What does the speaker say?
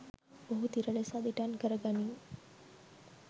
ඔහු තිර ලෙස අදිටන් කරගනී